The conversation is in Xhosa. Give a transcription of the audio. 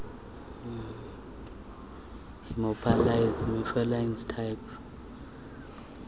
haemophilus influenza type